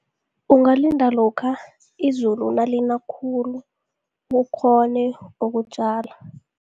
Ungalinda lokha izulu nalina khulu ukghone ukutjala.